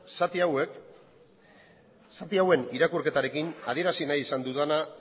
zati hauen irakurketarekin adierazi nahi izan dudana